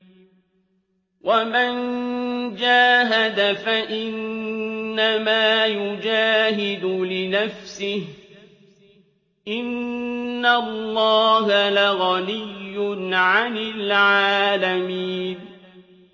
وَمَن جَاهَدَ فَإِنَّمَا يُجَاهِدُ لِنَفْسِهِ ۚ إِنَّ اللَّهَ لَغَنِيٌّ عَنِ الْعَالَمِينَ